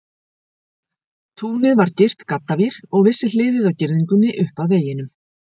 Túnið var girt gaddavír, og vissi hliðið á girðingunni upp að veginum.